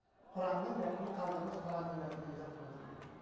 құранның мәтінін қалдырыңыз құранның мәтінімен жатқымыз келеді дейді